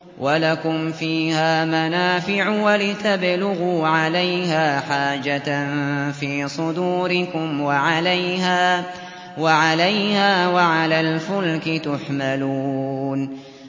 وَلَكُمْ فِيهَا مَنَافِعُ وَلِتَبْلُغُوا عَلَيْهَا حَاجَةً فِي صُدُورِكُمْ وَعَلَيْهَا وَعَلَى الْفُلْكِ تُحْمَلُونَ